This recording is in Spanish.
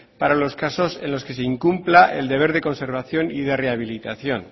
para los casos en los que se incumpla el deber de conservación y rehabilitación